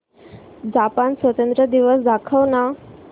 Japan स्वातंत्र्य दिवस दाखव ना